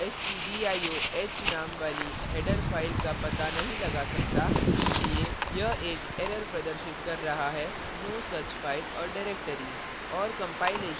compiler stdioh name वाली header file का पता नहीं लगा सकता इसलिए यह एक error प्रदर्शित कर रहा है no such file or directory